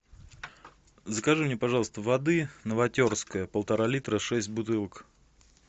закажи мне пожалуйста воды новотерская полтора литра шесть бутылок